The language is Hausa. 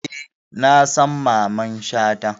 Eh, na san Mamman Shata